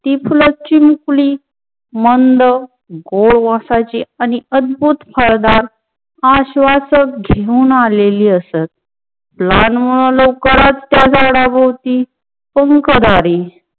ती फुल चीन्कुली मंद गोवासाची आणि अद्भुतन हळदार आश्वासन घेऊन आलेली असत. लहान मुलं लवकरच त्या झाडावरती पाहूकझाली.